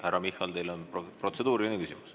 Härra Michal, teil on protseduuriline küsimus.